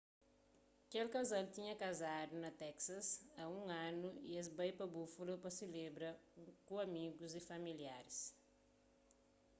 kel kazal tinha kazadu na teksas a un anu y es bai pa buffalo pa selebra ku amigus y familiaris